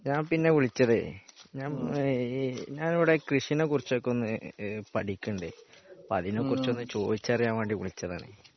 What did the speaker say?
ഞാൻ പിന്നെ വിളിച്ചതെ ഞാൻ ഈ ഞാൻ ഇവിടെ കൃഷിയെ കുറിച്ചൊക്കെ ഒന്ന് പഠിക്കണ്ടേ അപ്പോ അതിനെക്കുറിച്ചൊന്നു ചോദിച്ചറിയാൻ വേണ്ടി വിളിച്ചതാണ്.